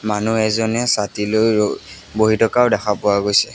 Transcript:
মানুহ এজনে ছাতিলৈ ৰ-বহি থকাও দেখা পোৱা গৈছে।